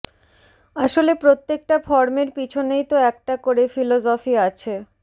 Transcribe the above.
আসলে প্রত্যেকটা ফর্মের পিছনেই তো একটা করে ফিলজফি আছে